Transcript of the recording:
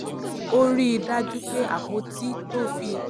ó rí i dájú pé àpótí to fi